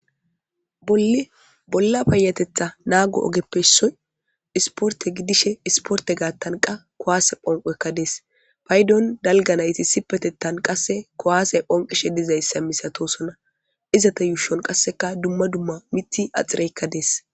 Bolla payatetha naago ogeppes soy isporte gidishe isporte gaattanqa kowaase phonqoekka dees paydon dalga nayti sipetettan qasse kowaase phonqishe dizayssa misatosona izata yuushon qasseka dumma dumma miti axireykka dees.